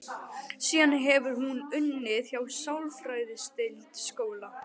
Síðan hefur hún unnið hjá sálfræðideild skóla.